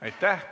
Aitäh!